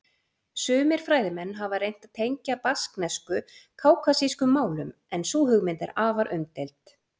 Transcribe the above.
Sumir fræðimenn hafa reynt að tengja basknesku kákasískum málum en sú hugmynd er afar umdeild.